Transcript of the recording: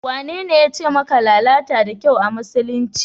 Wanene yace maka lalata da kyau a musulunci?